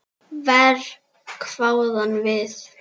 Verr, hváðum við.